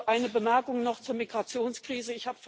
Eine Bemerkung noch zur Migrationskrise.